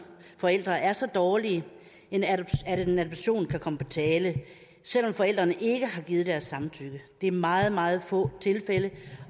forældre er så dårlige at en adoption kan komme på tale selv om forældrene ikke har givet deres samtykke det er meget meget få tilfælde